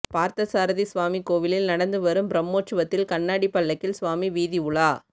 பார்த்தசாரதி சுவாமி கோவிலில் நடந்து வரும் பிரம்மோற்சவத்தில் கண்ணாடி பல்லக்கில் சுவாமி வீதி உலா